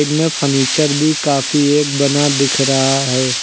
इनमें फनीचर भी काफी एक बना दिख रहा है।